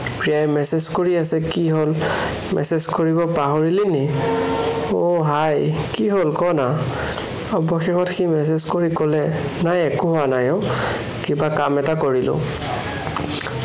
প্ৰিয়াই message কৰি আছে, কি হ'ল, message কৰিব পাহৰিলে নেকি? আহ hi কি হল কোৱানা? অৱশেষত সি message কৰি কলে, নাই একো হোৱা নাই অ', কিবা কাম এটা কৰিলো।